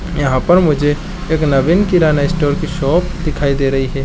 यहाँ पर मुझे एक नवीन किराना स्टोर की शॉप दिखाई दे रही है।